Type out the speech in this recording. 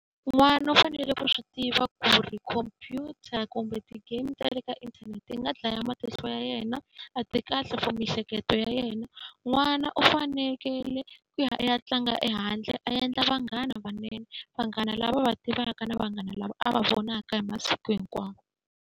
N'wana u fanele ku swi tiva ku ri khompyuta kumbe ti-game ta le ka inthanete yi nga dlaya matihlo ya yena, a ti kahle for miehleketo ya yena. N'wana u fanekele ku ya i ya tlanga ehandle a endla vanghana lavanene, vanghana lava a va tivaka na vanghana lava a va vonaka hi masiku hinkwawo.